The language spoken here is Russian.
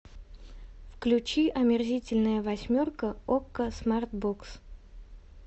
включи омерзительная восьмерка окко смарт бокс